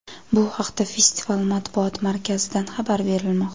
Bu haqda festival Matbuot markazidan xabar berilmoqda.